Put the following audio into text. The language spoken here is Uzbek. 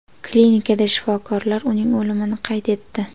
Klinikada shifokorlar uning o‘limini qayd etdi.